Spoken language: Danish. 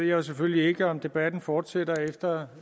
jo selvfølgelig ikke om debatten fortsætter efter